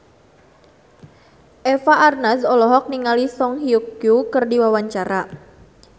Eva Arnaz olohok ningali Song Hye Kyo keur diwawancara